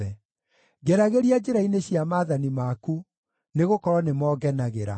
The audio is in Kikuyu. Ngeragĩria njĩra-inĩ cia maathani maku, nĩgũkorwo nĩmo ngenagĩra.